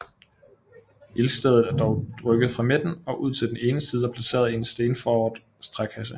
Ildstedet er dog rykket fra midten og ud til den ene side og placeret i en stenforet trækasse